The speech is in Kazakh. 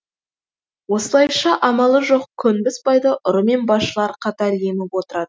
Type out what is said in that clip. осылайша амалы жоқ көнбіс байды ұры мен басшылар қатар еміп отырады